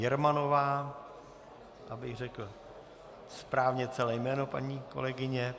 Jermanová, abych řekl správně celé jméno paní kolegyně.